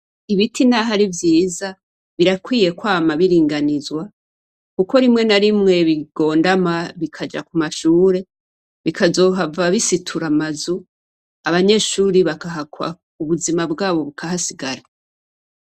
Ibiti naho ari vyiza, birakwiye kwama biringanizwa. Kuko rimwe na rimwe bigondama, bikaja ku mashure, bikazohava bisitura amazu, abanyeshure bakahagwa, ubuzima bwabo bukahasigara.